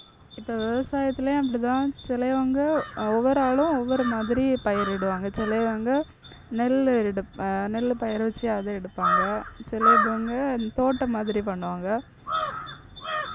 இப்ப விவசாயத்திலயும் அப்படித்தான் சிலயவங்க அஹ் ஒவ்வொரு ஆளும் ஒவ்வொரு மாதிரி பயிரிடுவாங்க. சிலயவங்க நெல் ஏறிடுப்~ அஹ் நெல் பயிரவச்சு அதை எடுப்பாங்க சில இதுவுங்க தோட்டம் மாதிரி பண்ணுவாங்க.